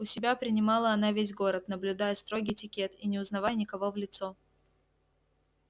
у себя принимала она весь город наблюдая строгий этикет и не узнавая никого в лицо